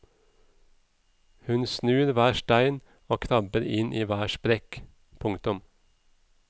Hun snur hver stein og krabber inn i hver sprekk. punktum